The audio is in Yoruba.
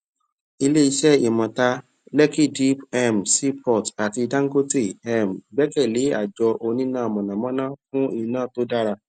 ilé iṣẹ imota lekki deep um seaport àti dangote um gbẹkẹlé àjọ oníná mọnàmọná fún iná tó dára